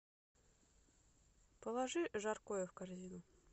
положи жаркое в корзину